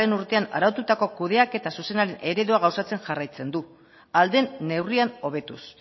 urtean araututako kudeaketa zuzenaren eredua gauzatzen jarraitzen du ahal den neurrian hobetuz